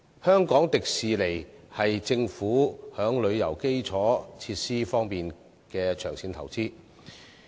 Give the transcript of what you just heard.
香港迪士尼是政府在旅遊基礎設施方面的長線投資。